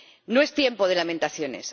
No es tiempo de lamentaciones.